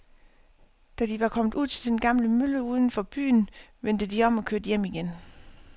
Da de var kommet ud til den gamle mølle uden for byen, vendte de om og kørte hjem igen.